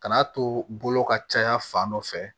Kan'a to bolo ka caya fan dɔ fɛ